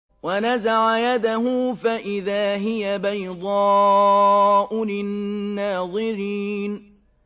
وَنَزَعَ يَدَهُ فَإِذَا هِيَ بَيْضَاءُ لِلنَّاظِرِينَ